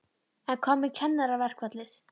En hvað með kennaraverkfallið?